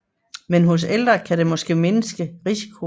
Men hos ældre kan de måske mindske risikoen